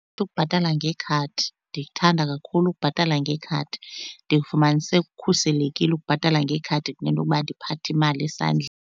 ukubhatala ngekhadi, ndiyithanda kakhulu ukubhatala ngekhadi. Ndikufumanise kukhuselekile ukubhatala ngekhadi kunento yokuba ndiphathe imali .